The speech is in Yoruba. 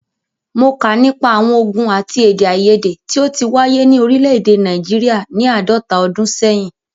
Mó kà nípa àwọn ògùn àti èdèaiyèdè tí o ti wáyé ni òrílẹ̀ èdè Nàìjíríà ni àádọ́ta ọdún sẹ́yìn.